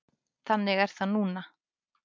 Þannig er það núna.